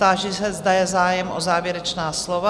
Táži se, zda je zájem o závěrečná slova?